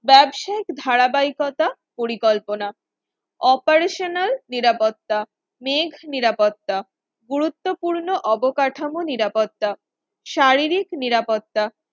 ব্যবসায়িক ধারাবাহিকতা পরিকল্পনা operational নিরাপত্তা rack নিরাপত্তা গুরুত্বপূর্ণ অবকাঠামো নিরাপত্তা শারীরিক নিরাপত্তা